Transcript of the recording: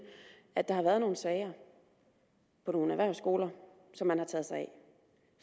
at der har været nogle sager på nogle erhvervsskoler som man har taget sig af